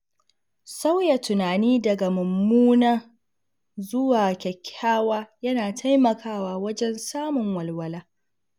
Sauya tunani daga mummuna zuwa kyakkyawa yana taimakawa wajen samun walwala.